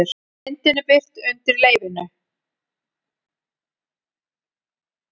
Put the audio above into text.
Myndin er birt undir leyfinu